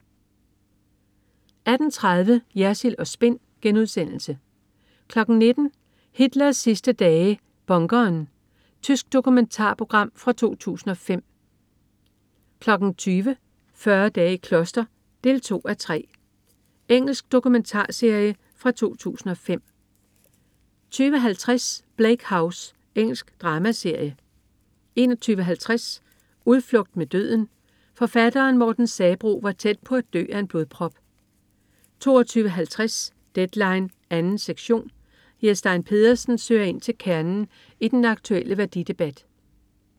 18.30 Jersild & Spin* 19.00 Hitlers sidste dage. Bunkeren. Tysk dokumentarprogram fra 2005 20.00 40 dage i kloster 2:3. Engelsk dokumentarserie fra 2005 20.50 Bleak House. Engelsk dramaserie 21.50 Udflugt mod døden. Forfatteren Morten Sabroe var tæt på at dø af en blodprop 22.50 Deadline 2. sektion. Jes Stein Pedersen søger ind til kernen i den aktuelle værdidebat